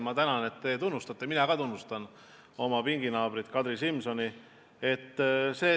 Ma tänan, et te teda tunnustate, mina ka tunnustan oma pinginaabrit Kadri Simsoni.